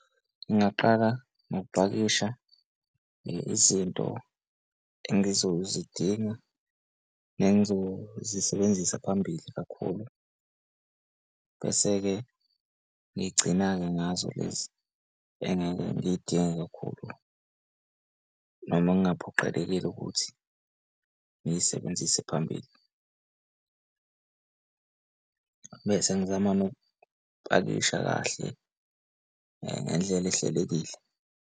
Ngingaqala ngokupakisha ngezinto engizozidinga nengizozisebenzisa phambili kakhulu. Bese-ke ngigcina-ke ngazo lezi engake ngiy'dinga kakhulu, noma kungaphoqelekile ukuthi ngiy'sebenzise phambili bese ngizama nokupakisha kahle ngendlela ehlelekile.